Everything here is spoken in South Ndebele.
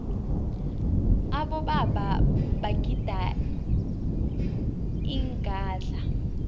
abobaba bagida ingadla